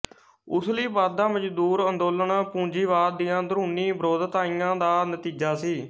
ਉਸ ਲਈ ਵਧਦਾ ਮਜ਼ਦੂਰ ਅੰਦੋਲਨ ਪੂੰਜੀਵਾਦ ਦੀਆਂ ਅੰਦਰੂਨੀ ਵਿਰੋਧਤਾਈਆਂ ਦਾ ਨਤੀਜਾ ਸੀ